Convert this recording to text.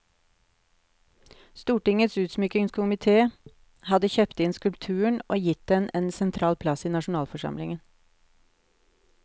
Stortingets utsmykningskomitee hadde kjøpt inn skulpturen og gitt den en sentral plass i nasjonalforsamlingen.